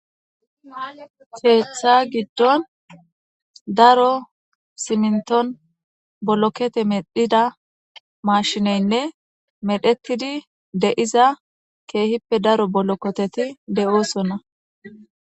Keeththa giddon daro siminton bolokete medhida maashineynne medhetidi de'iza keehippe daro bolokoteti de'oosonna.